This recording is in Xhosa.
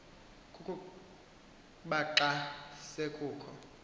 kukuba xa kusekho